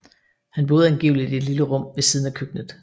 Han boede angiveligt i et lille rum ved siden af køkkenet